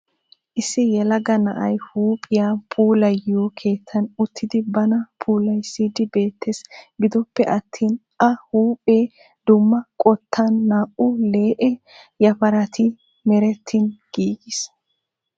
Issi yelagga na'ay huuphphiyaa puulayiyo keettan uttidi bana puulaysidi beettes. Giddoppe attin a huuphphe dumma qottan, naa'u lee'e yafaratti merettin giigis.